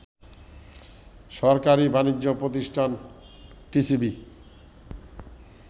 সরকারি বাণিজ্য প্রতিষ্ঠান টিসিবি